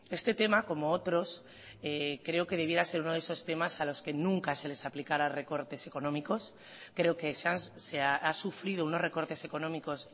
este tema como otros creo que debiera ser uno de esos temas a los que nunca se les aplicará recortes económicos creo que se ha sufrido unos recortes económicos